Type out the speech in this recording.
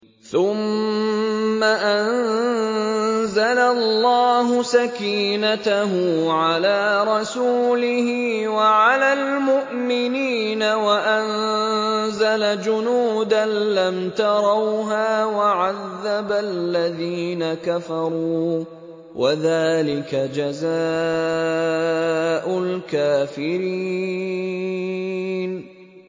ثُمَّ أَنزَلَ اللَّهُ سَكِينَتَهُ عَلَىٰ رَسُولِهِ وَعَلَى الْمُؤْمِنِينَ وَأَنزَلَ جُنُودًا لَّمْ تَرَوْهَا وَعَذَّبَ الَّذِينَ كَفَرُوا ۚ وَذَٰلِكَ جَزَاءُ الْكَافِرِينَ